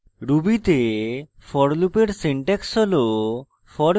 ruby the for লুপের syntax হল